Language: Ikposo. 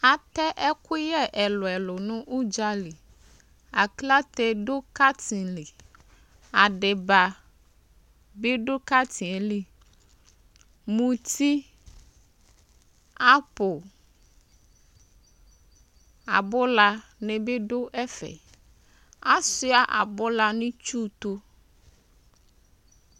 ɛtɛ ɛkʋyɛ ɛlʋɛlʋ nʋ dzali aklate dʋ NA li adibabi dʋ NA yɛli mʋtii apple abʋla nibi dʋ ɛƒɛɛ asʋa abʋla nʋ itsʋʋ tʋ